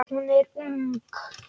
Hún er ung.